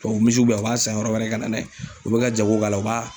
tubabu misiw bɛ yan, u b'a san yɔrɔ wɛrɛ ka na n'a ye , u bɛ ka jago k'a la , u b'a